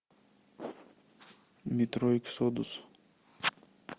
метро эксодус